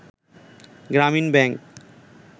“Grameen bank